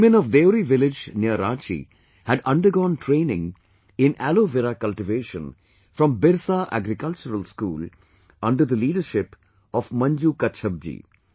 The women of Deori village near Ranchi had undergone training in Aloe Vera cultivation from Birsa Agricultural School under the leadership of Manju Kachhap ji